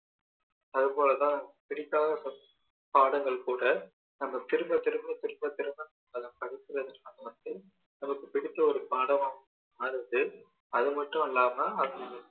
அதுபோல தான் பிடிக்காத பாடங்கள் கூட நம்ம திரும்ப திரும்ப திரும்ப திரும்ப அதை படிக்கிறதுனால வந்து நமக்கு பிடிச்ச ஒரு பாடமா மாறுது அது மட்டும் இல்லாம